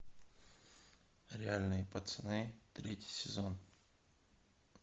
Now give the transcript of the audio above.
реальные пацаны третий сезон